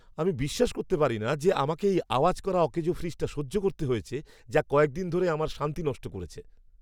আমি বিশ্বাস করতে পারি না যে আমাকে এই আওয়াজ করা, অকেজো ফ্রিজটা সহ্য করতে হয়েছে যা কয়েক দিন ধরে আমার শান্তি নষ্ট করছে!